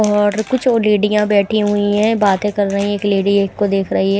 और कुछ और लेडिया बैठी हुई है बातें कर रही है एक लेडी एक को देख रही है।